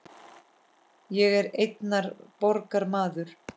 Ég er einnar borgar maður.